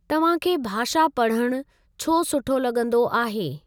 तव्हां खे भाषा पढ़णु छो सुठो लॻंदो आहे?